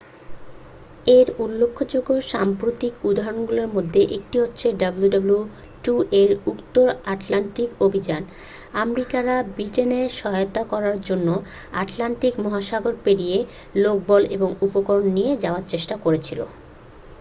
এর উল্লেখযোগ্য সাম্প্রতিক উদাহরণগুলির মধ্যে একটি হ'ল wwii এর উত্তর আটলান্টিক অভিযান আমেরিকানরা ব্রিটেনকে সহায়তা করার জন্য আটলান্টিক মহাসাগর পেরিয়ে লোকবল ও উপকরণ নিয়ে যাওয়ার চেষ্টা করছিল